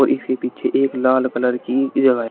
इसके पीछे एक लाल कलर की जगह--